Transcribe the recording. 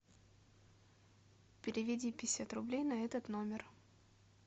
переведи пятьдесят рублей на этот номер